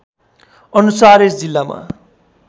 अनुसार यस जिल्लामा